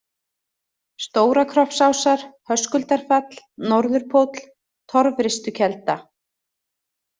Stóra-Kroppsásar, Höskuldarfall, Norðurpóll, Torfristukelda